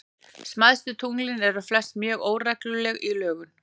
Smæstu tunglin eru flest mjög óregluleg í lögun.